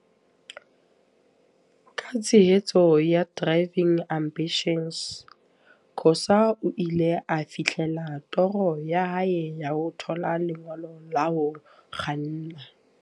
Ka tshehetso ya Driving Ambi -tions, Khoza o ile a fihlella toro ya hae ya ho thola lengolo la ho kganna.